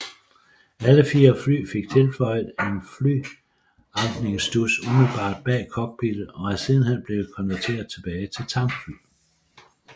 Alle fire fly fik tilføjet en flytankningsstuds umiddelbart bag cockpittet og er sidenhen blevet konverteret tilbage til tankfly